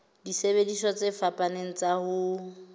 disebediswa tse fapaneng tsa ho